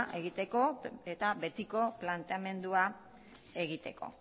egiteko eta betiko planteamendua egiteko